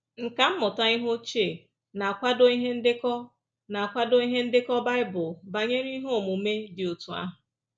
Nkà mmụta ihe ochie na-akwado ihe ndekọ na-akwado ihe ndekọ Bible banyere ihe omume dị otú ahụ